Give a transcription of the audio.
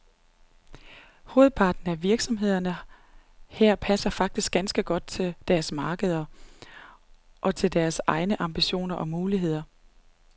Hovedparten af virksomhederne her passer faktisk ganske godt til deres markeder, og til deres egne ambitioner og muligheder.